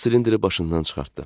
O silindiri başından çıxartdı.